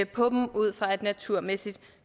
på dem ud fra et naturmæssigt